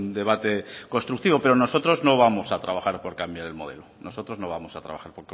debate constructivo pero nosotros no vamos a trabaja por cambiar el modelo nosotros no vamos a trabajar